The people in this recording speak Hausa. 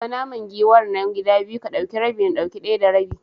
Raba naman giwar nan gida biyu, ka dauki rabi na dauki daya rabin.